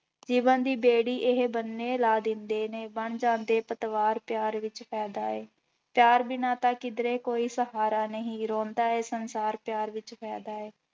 ਜੀਵਨ ਦੀ ਬੇੜੀ ਇਹ ਬੰਨ੍ਹੇ ਲਾ ਦਿੰਦੇ ਨੇ, ਬਣ ਜਾਂਦੇ ਪਤਵਾਰ ਪਿਆਰ ਵਿੱਚ ਫ਼ਾਇਦਾ ਹੈ, ਪਿਆਰ ਬਿਨਾਂ ਤਾਂ ਕਿਧਰੇ ਕੋਈ ਸਹਾਰਾ ਨਹੀਂ, ਰੋਂਦਾ ਹੈ ਸੰਸਾਰ ਪਿਆਰ ਵਿੱਚ ਫ਼ਾਇਦਾ ਹੈ।